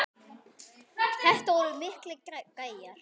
Þetta voru miklir gæjar.